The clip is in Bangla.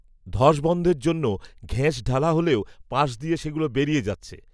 ধস বন‌ধের জন্য, ঘেঁস ঢালা হলেও, পাশ দিয়ে সেগুলো বেরিয়ে যাচ্ছে